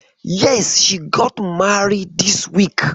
Yes, she got married this week.